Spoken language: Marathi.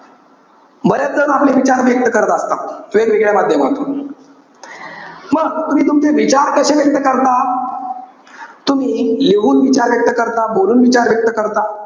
बरेच जण आपले विचार व्यक्त करत असतात. वेगवेगळ्या माध्यमातून. मग तुम्ही तुमचे विचार कशे व्यक्त करता. तुम्ही लिहून विचार व्यक्त करता, बोलून विचार व्यक्त करता,